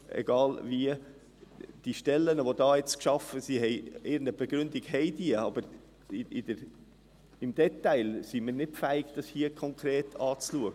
Für die Schaffung der neuen Stellen gibt es irgendeine Begründung, und wir sind hier nicht fähig, dies im Detail anzuschauen.